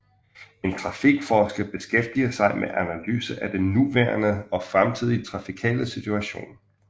En trafikforsker beskæftiger sig med analyser af den nuværende og fremtidige trafikale situation